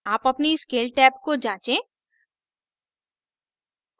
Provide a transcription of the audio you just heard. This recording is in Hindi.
आप अपनी scale टैब को जाँचें